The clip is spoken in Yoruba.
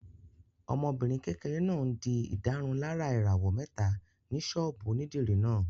Ọmọbìnrin kékeré náà n di ìdárunlárà ìràwọ̀ mẹ́ta ní sọ́ọ̀bù onídìrí náà